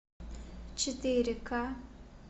четыре ка